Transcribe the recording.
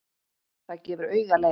Það gefur auga leið.